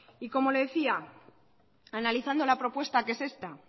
y como le decía analizando la propuesta que es esta